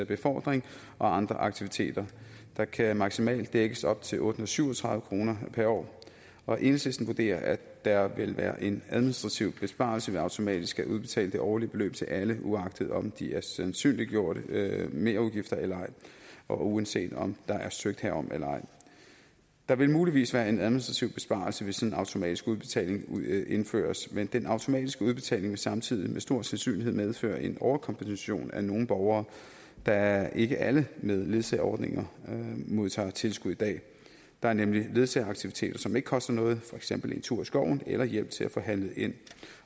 befordring og andre aktiviteter der kan maksimalt dækkes op til otte hundrede og syv og tredive kroner per år og enhedslisten vurderer at der vil være en administrativ besparelse ved automatisk at udbetale det årlige beløb til alle uagtet om de er sandsynliggjorte merudgifter eller ej og uanset om der er søgt herom eller ej der vil muligvis være en administrativ besparelse hvis sådan en automatisk udbetaling indføres men den automatiske udbetaling vil samtidig med stor sandsynlighed medføre en overkompensation af nogle borgere da ikke alle med ledsageordninger modtager tilskud i dag der er nemlig ledsageaktiviteter som ikke koster noget for eksempel en tur i skoven eller hjælp til at få handlet ind